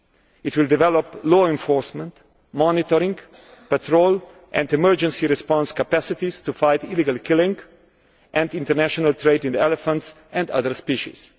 It will develop law enforcement, monitoring, patrol and emergency response capacities to fight illegal killing and international trade in elephants and other species.